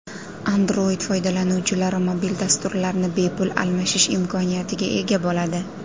Android foydalanuvchilari mobil dasturlarni bepul almashish imkoniyatiga ega bo‘ladi.